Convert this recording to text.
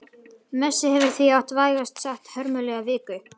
Messi hefur því átt vægast sagt hörmulega viku.